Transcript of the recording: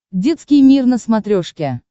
детский мир на смотрешке